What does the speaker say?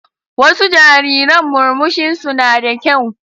Wasu jariran murmushinsu na da kyau.